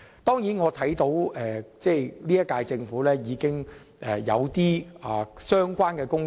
當然，我看到現屆政府正在處理相關工作。